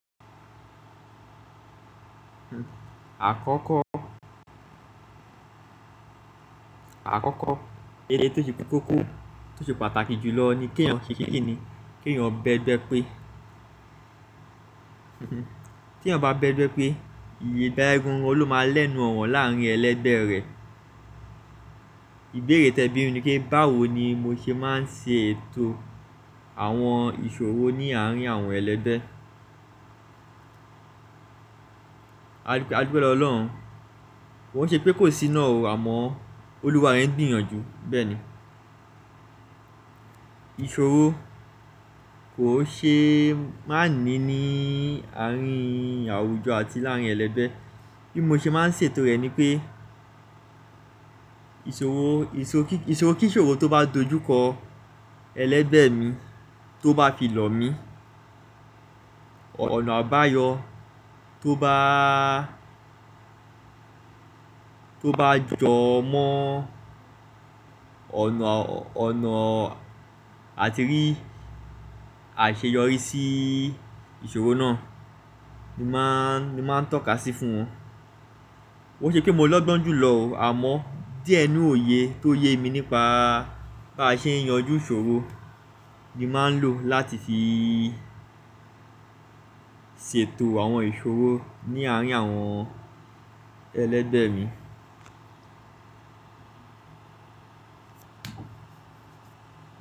Àkọ́kọ́, àkọ́kọ́ èlé tó ṣe kókó tó ṣe pàtàkì jùlọ ni kí ènìyàn ṣè kínni, k'èèyàn bẹ́gbẹ́ pé, tí èeyàn bá bẹ́gbẹ́ pé, ìgba yén gan gan ló máa lẹ́nu ọ̀rọ́ láàrín ẹlẹ́gbẹ̀ rẹ̀. Ìbéèrè tẹ bími ni pé, báwo ni mo ṣe máa ń ṣe ètò àwọn ìṣòro ní àárín àwọn ẹlẹ́bẹ̀? Lagbara Ọlọ́run, kó n ṣe pé kò sí náà o, àmọ́ Olúwa rẹ n gbìyànjú. Bẹ́ẹ̀ni, ìṣòro kò ṣe máa ní ní àárín àwùjọ àti láàrín ẹlẹ́gbẹ̀. Bí mo ṣe máa ń ṣe ètò rẹ̀ ni pé, ìṣòro kí ìṣòro tó bá dojúkọ ẹlẹ́gbẹ̀ mi, tó bá fi lọ̀ mí, ọ̀nà àbáyọ tó bá, tó bá jọ mọ́ ọ̀nà àti rí àṣeyọrí sí ìṣòro náà ni màá ń tọ́ka sí fún wọn. Ó ṣe pé mo lọ́gbọ́n jùlọ o, àmọ́ díẹ̀ n'nu òye mi nípa bá ṣe ń yanjú ìṣòro ni màá ń lò láti fi ṣe ètò àwọn ìṣòro ní àárín àwọn ẹlẹ́gbẹ̀ mi.